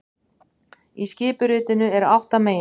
Í skipuritinu eru átta meginsvið